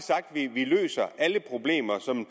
vi løser alle problemer sådan